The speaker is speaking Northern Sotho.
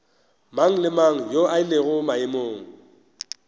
mang yo a lego maemong